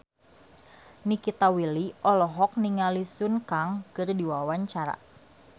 Nikita Willy olohok ningali Sun Kang keur diwawancara